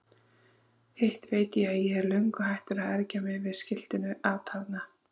Hitt veit ég að ég er löngu hættur að ergja mig yfir skiltinu atarna.